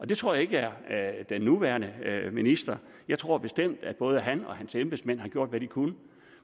det tror jeg ikke er den nuværende minister jeg tror bestemt at både han og hans embedsmænd har gjort hvad de kunne